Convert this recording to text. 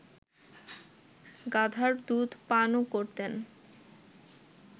গাধার দুধ পানও করতেন